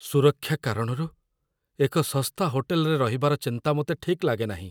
ସୁରକ୍ଷା କାରଣରୁ, ଏକ ଶସ୍ତା ହୋଟେଲରେ ରହିବାର ଚିନ୍ତା ମୋତେ ଠିକ୍ ଲାଗେନାହିଁ।